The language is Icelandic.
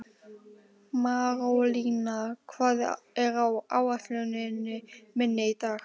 Marólína, hvað er á áætluninni minni í dag?